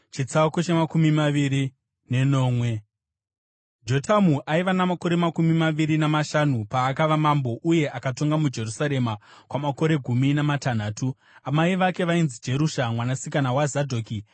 Jotamu aiva namakore makumi maviri namashanu paakava mambo, uye akatonga muJerusarema kwamakore gumi namatanhatu. Amai vake vainzi Jerusha mwanasikana waZadhoki.